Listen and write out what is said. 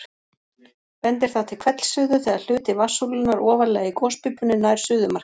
bendir það til hvellsuðu þegar hluti vatnssúlunnar ofarlega í gospípunni nær suðumarki